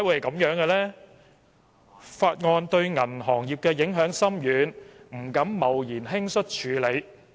《條例草案》對銀行業影響深遠，大家當然不敢貿然輕率處理。